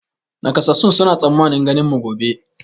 Nakasassun suna tsammanin ganin mu gobe